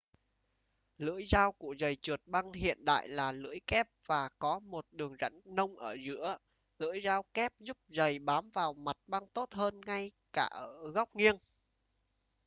lưỡi dao của giầy trượt băng hiện đại là lưỡi kép và có một đường rãnh nông ở giữa lưỡi dao kép giúp giầy bám vào mặt băng tốt hơn ngay cả ở góc nghiêng